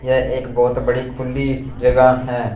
यह एक बहोत बड़ी खुली जगह है।